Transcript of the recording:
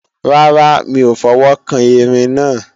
Rárá, mi ò fọwọ́kan Erin náà